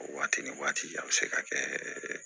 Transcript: O waati ni waati a bɛ se ka kɛ